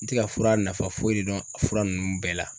N ti ka fura nafa foyi de dɔn a fura ninnu bɛɛ la